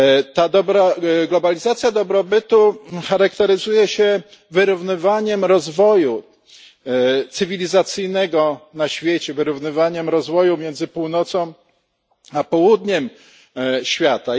Ta globalizacja dobrobytu charakteryzuje się wyrównywaniem rozwoju cywilizacyjnego na świecie, wyrównywaniem rozwoju między Północą a Południem świata.